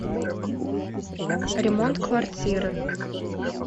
ремонт квартиры